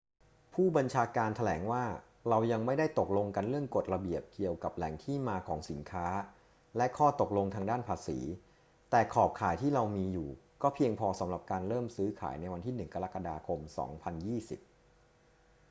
ผู้บัญชาการแถลงว่า เรายังไม่ได้ตกลงกันเรื่องกฎระเบียบเกี่ยวกับแหล่งที่มาของสินค้าและข้อตกลงทางด้านภาษี แต่ขอบข่ายที่เรามีอยู่ก็เพียงพอสำหรับการเริ่มซื้อขายในวันที่ 1 กรกฎาคม 2020